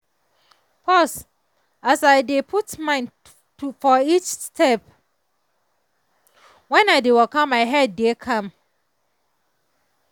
pause as i dey put mind for each step when i dey waka my head dey calm